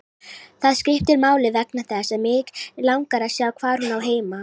Það skiptir máli vegna þess að mig langar að sjá hvar hún á heima.